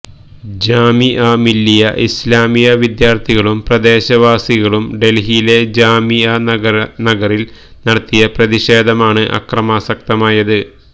ജാമിഅ മില്ലിയ ഇസ്ലാമിയ വിദ്യാര്ഥികളും പ്രദേശവാസികളും ഡല്ഹിയിലെ ജാമിഅ നഗറില് നടത്തിയ പ്രതിഷേധമാണ് അക്രമാസക്തമായത്